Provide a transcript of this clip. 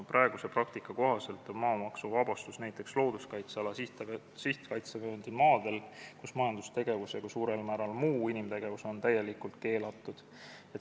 Praeguse praktika kohaselt on maamaksuvabastus näiteks looduskaitseala sihtkaitsevööndi maadel, kus majandustegevus ja suurel määral ka muu inimtegevus on täielikult keelatud.